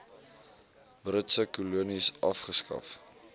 britse kolonies afgeskaf